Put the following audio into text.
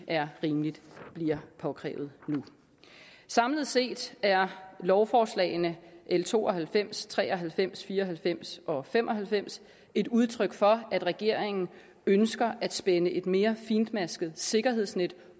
er rimeligt at det bliver påkrævet nu samlet set er lovforslagene l to og halvfems tre og halvfems fire og halvfems og fem og halvfems et udtryk for at regeringen ønsker at spænde et mere fintmasket sikkerhedsnet